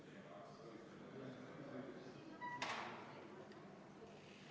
Paragrahvi lisatakse ka teine lõige, mille kohaselt raudteeseaduse muudatused jõustuvad Riigi Teatajas avaldamisele järgneval päeval.